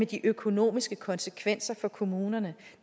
de økonomiske konsekvenser for kommunerne